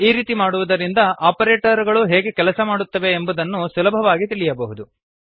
ಈ ರೀತಿ ಮಾಡುವುದರಿಂದ ಆಪರೇಟರ್ ಗಳು ಹೇಗೆ ಕೆಲಸ ಮಾಡುತ್ತವೆ ಎಂಬುದನ್ನು ಸುಲಭವಾಗಿ ತಿಳಿಯಬಹುದು